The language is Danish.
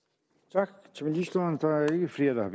tak til ministeren der er ikke flere der